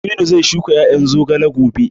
Aminu zai shuka ƴaƴan zogale gobe